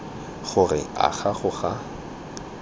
gore a ga go a